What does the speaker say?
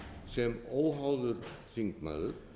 sem óháður þingmaður